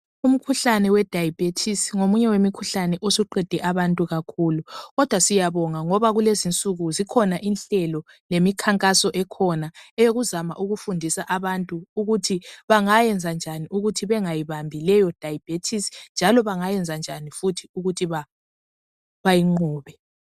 Umkhuhlane we diabetes ngomunye wemikhuhlane osuqede abantukakhulu kodwa siyabonga ngoba kulezinsuku zikhona inhlelo lemikhankaso esikhona eyokuzama ukufundisa abantu ukuthi bangayenza njani ukuthi vangayibambi leyo diabetes njalo bangayenzanjani futhi ukuthi bayinqobe.